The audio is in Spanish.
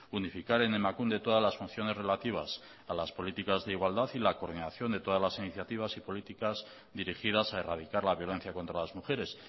unificar en emakunde todas las funciones relativas a las políticas de igualdad y la coordinación de todas las iniciativas y políticas dirigidas a erradicar la violencia contra las mujeres